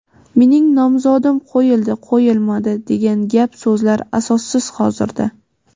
mening nomzodim qo‘yildi qo‘yilmadi degan gap so‘zlar asossiz hozirda.